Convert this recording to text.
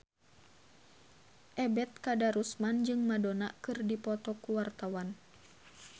Ebet Kadarusman jeung Madonna keur dipoto ku wartawan